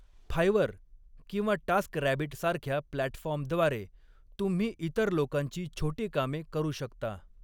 फायवर किंवा टास्करॅबिट सारख्या प्लॅटफॉर्मद्वारे, तुम्ही इतर लोकांची छोटी कामे करू शकता.